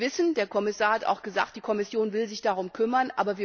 stellen. Wir wissen, der Kommissar hat auch gesagt, die Kommission will sich darum